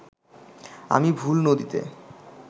আমি ভুল নদীতে